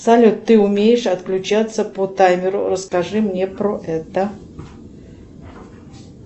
салют ты умеешь отключаться по таймеру расскажи мне про это